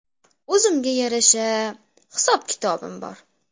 O‘zimga yarasha hisob-kitobim bor.